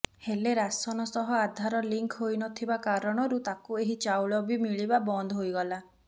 ହେଲେ ରାସନ ସହ ଆଧାର ଲିଙ୍କ ହୋଇନଥିବା କାରଣରୁ ତାକୁ ଏହି ଚାଉଳ ବି ମିଳିବା ବନ୍ଦ ହୋଇଗଲା